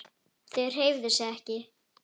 Þau hreyfðu sig ekki.